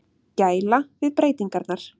Gæla við breytingarnar.